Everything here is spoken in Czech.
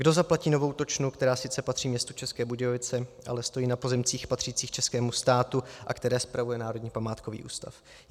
Kdo zaplatí novou točnu, která sice patří městu České Budějovice, ale stojí na pozemcích patřících českému státu, a které spravuje Národní památkový ústav?